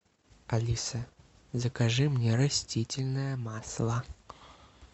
алиса закажи мне растительное масло